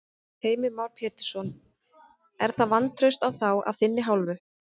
Heimir Már Pétursson: Er það vantraust á þá af þinni hálfu?